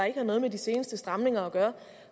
ikke har noget med de seneste stramninger at gøre